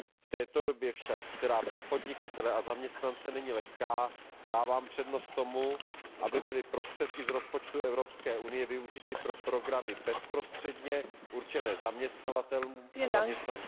Avšak v této době, která pro podnikatele a zaměstnance není lehká, dávám přednost tomu, aby byly prostředky z rozpočtu Evropské unie využity pro programy bezprostředně určené zaměstnavatelům a zaměstnancům.